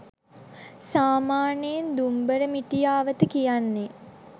සාමාන්‍යයෙන් “දුම්බර මිටියාවත” කියන්නේ